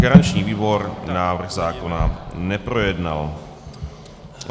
Garanční výbor návrh zákona neprojednal.